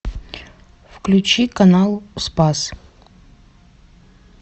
включи канал спас